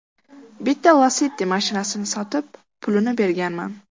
Bitta Lacetti mashinasini sotib, pulini berganman.